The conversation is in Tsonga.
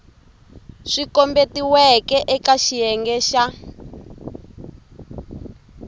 swi kombetiweke eka xiyenge xa